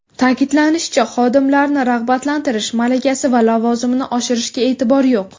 Ta’kidlanishicha, xodimlarni rag‘batlantirish, malakasi va lavozimini oshirishga e’tibor yo‘q.